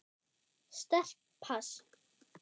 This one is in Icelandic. Sterkt pass.